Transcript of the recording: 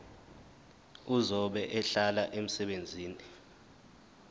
ozobe ehlola umsebenzi